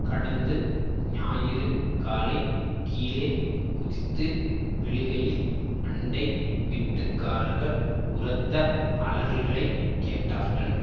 கடந்து ஞாயிறு காலை கீழே குதித்து விழுகையில் அண்டை வீட்டுக்காரர்கள் உரத்த அலறல்களை கேட்டார்கள்